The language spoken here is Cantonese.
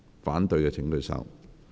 反對的請舉手。